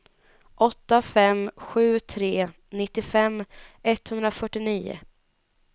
åtta fem sju tre nittiofem etthundrafyrtionio